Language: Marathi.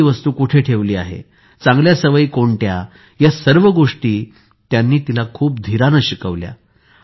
कोणती वस्तू कुठे ठेवली आहे चांगलया सवयी कोणत्या या सर्व गोष्टी त्यांनी तिला खूप धीराने शिकवल्या